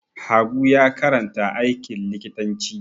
Habu ya karanta aikin likitanci.